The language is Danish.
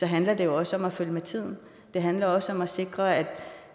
handler det også om at følge med tiden det handler også om at sikre at